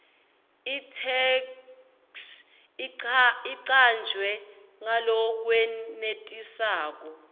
itheksthi icanjwe ngalokwenetisako